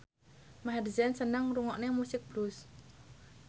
Maher Zein seneng ngrungokne musik blues